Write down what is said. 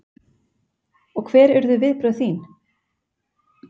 Og hver urðu viðbrögð þín?